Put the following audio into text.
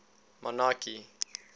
monarchy